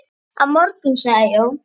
Á morgun sagði Jón.